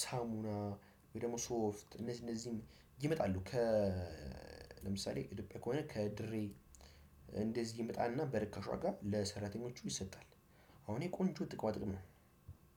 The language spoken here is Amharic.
ሳሙና ወይ ደግሞ ሶፍት እነዚህ እነዚህም ይመጣሉ ከለምሳሌ እድገት ከሆነ ከድሬ እንደዚህ ይመጣና በርካሽ ዋጋ ለሰራተኞቹ ይሰጣል። አሁን የቆንጆ ጥቅማ ጥቅም ነው።